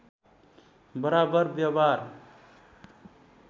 बराबर व्यवहार